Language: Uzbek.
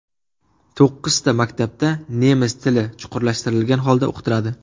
To‘qqizta maktabda nemis tili chuqurlashtirgan holda o‘qitiladi.